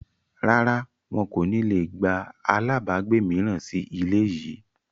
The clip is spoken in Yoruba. Rárá, wọn kò ní le gba àlábagbé mìíràn sì ilé yìí